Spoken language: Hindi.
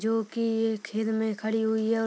जो की ऐ में खड़ी हुई है।